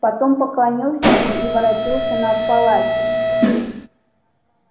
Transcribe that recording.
потом поклонился мне и воротился на полати